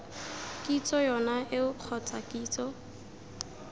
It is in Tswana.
kitso yone eo kgotsa kitso